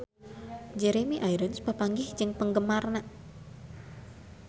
Jeremy Irons papanggih jeung penggemarna